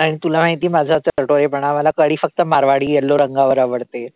आणि तुला माहितीये माझं चटोरेपणा मला कढी फक्त मारवाडी yellow रंगावर आवडते.